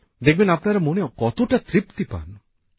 দেখবেন আপনারা মনে কতটা তৃপ্তি পান